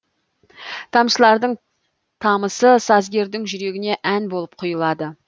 тамшылардың тамысы сазгердің жүрегіне ән болып құйылады